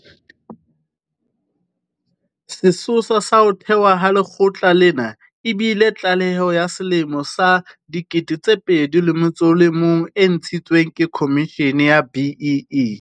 Sesosa sa ho thewa ha lekgotla lena e bile tlaleho ya selemo sa 2001 e ntshitsweng ke Khomishene ya BEE.